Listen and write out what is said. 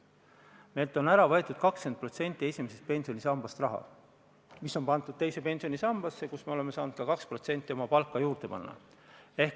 Meilt on esimesest pensionisambast ära võetud 20%, mis on pandud teise pensionisambasse, kuhu me oleme saanud ka 2% oma palgast juurde panna.